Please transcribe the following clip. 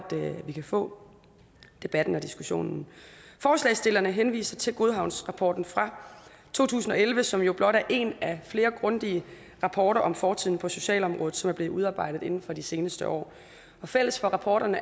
vi kan få debatten og diskussionen forslagsstillerne henviser til godhavnsrapporten fra to tusind og elleve som jo blot er en af flere grundige rapporter om fortiden på socialområdet som er blevet udarbejdet inden for de seneste år og fælles for rapporterne